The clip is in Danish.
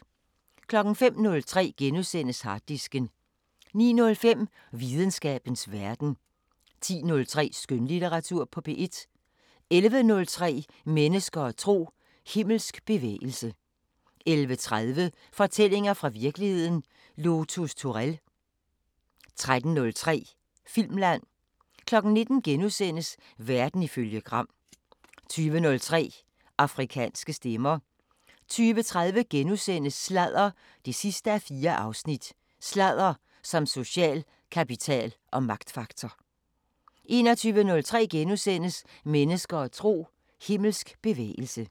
05:03: Harddisken * 09:05: Videnskabens Verden 10:03: Skønlitteratur på P1 11:03: Mennesker og tro: Himmelsk bevægelse 11:30: Fortællinger fra virkeligheden – Lotus Turell 13:03: Filmland 19:00: Verden ifølge Gram * 20:03: Afrikanske Stemmer 20:30: Sladder 4:4: Sladder som social kapital og magtfaktor * 21:03: Mennesker og tro: Himmelsk bevægelse *